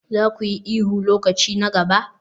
Za ku yi ihu lokaci na gaba?